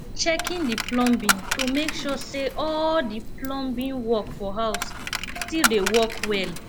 checking the plumbing to make sure say all the plumbing work for house still dey work well